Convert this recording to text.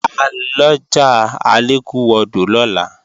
À lọjà Alékúwọdò lọ́la